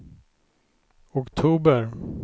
oktober